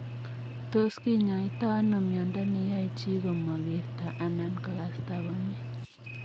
Tos kinyoitoo anoo miondo neyae chi komakertoo anan kokastaa komie?